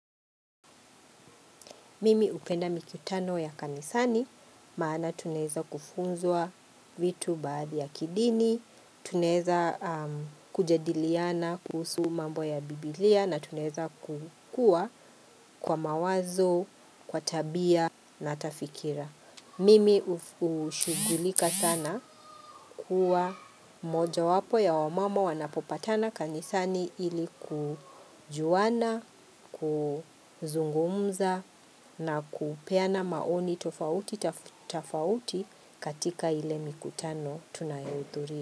Mimi hupenda mikutano ya kanisani maana tunaeza kufunzwa vitu baadhi ya kidini, tunaeza kujadiliana kuhusu mambo ya biblia na tunaeza kukua kwa mawazo, kwa tabia na hata fikira. Mimi ushugulika sana kuwa moja wapo ya wamama wanapopatana kanisani ili kujuana, kuzungumza na kupeana maoni tofauti tofauti katika ile mikutano tunayohudhuria.